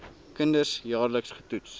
kinders jaarliks getoets